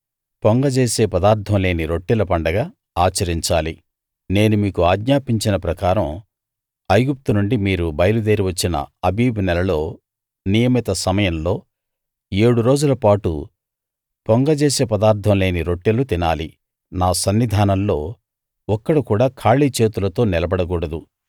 పొంగ జేసే పదార్థం లేని రొట్టెల పండగ ఆచరించాలి నేను మీకు ఆజ్ఞాపించిన ప్రకారం ఐగుప్తు నుండి మీరు బయలుదేరి వచ్చిన ఆబీబు నెలలో నియమిత సమయంలో ఏడు రోజుల పాటు పొంగ జేసే పదార్థం లేని రొట్టెలు తినాలి నా సన్నిధానంలో ఒక్కడు కూడా ఖాళీ చేతులతో నిలబడకూడదు